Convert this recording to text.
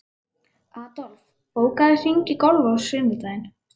Adolf, bókaðu hring í golf á sunnudaginn.